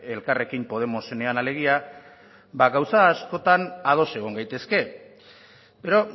elkarrekin podemosenean alegia ba gauza askotan ados egon gaitezke pero